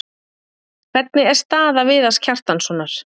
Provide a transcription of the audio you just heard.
Hvernig er staða Viðars Kjartanssonar?